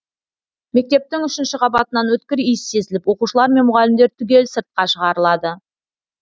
мектептің үшінші қабатынан өткір иіс сезіліп оқушылар мен мұғалімдер түгел сыртқа шығарылады